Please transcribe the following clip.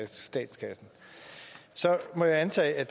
statskassen så må jeg antage at